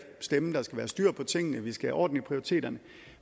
stemme der skal have styr på tingene vi skal have orden i prioriteterne